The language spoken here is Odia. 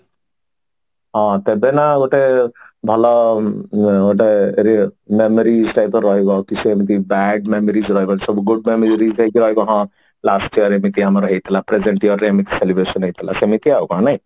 ହଁ ସାଧାରଣ ଗୋଟେ ଭଲ ଗୋଟେ memories type ର ରାହିଯାଏ ତ ସେମିତି bad memories ଗୁଡାକ last year ରେ ଯେମିତି ଆମର ହେଇଥିଲା present year ରେ ଏମିତି celebration ହେଇଥିଲା ସେମିତି ଆଉ କଣ ନାଇଁ